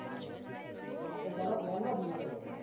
હા તો ચાલો plane માં જઈએ તો પછી